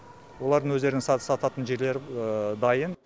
олардың өздерінің сататын жерлері дайын